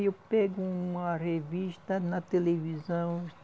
Eu pego uma revista na televisão.